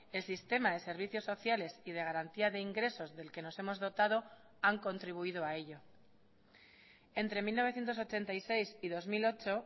el sistema de servicios sociales y de garantía de ingresos del que nos hemos dotado han contribuido a ello entre mil novecientos ochenta y seis y dos mil ocho